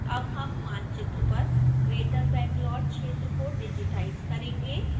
अब हम मानचित्र पर greater bangalore क्षेत्र को डिजिटाइज करेंगे